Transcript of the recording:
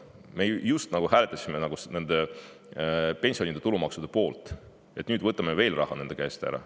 Me just hääletasime pensionide tulumaksustamise poolt, nüüd võtame nende käest veel raha ära.